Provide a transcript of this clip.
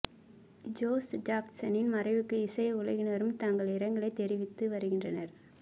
Joe ஜாக்சனின் மறைவுக்கு இசை உலகினரும் தங்கள் இரங்கலை தெரிவித்து வருகின்றனர்